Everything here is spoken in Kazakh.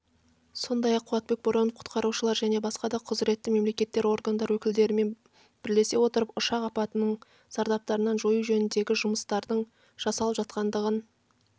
сондай-ақ қуатбек боронов құтқарушылар және басқа да құзыретті мемлекеттік органдар өкілдерімен бірлесе отырып ұшақ апатының зардаптарын жою жөніндегі жұмыстардың жасалып жатқандығын